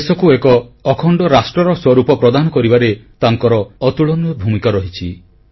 ଦେଶକୁ ଏକ ଅଖଣ୍ଡ ରାଷ୍ଟ୍ରର ସ୍ୱରୂ ପ୍ରଦାନ କରିବାରେ ତାଙ୍କର ଅତୁଳନୀୟ ଭୂମିକା ରହିଛି